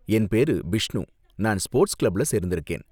என் பேரு பிஷ்ணு, நான் ஸ்போர்ட்ஸ் கிளப்ல சேர்ந்திருக்கேன்.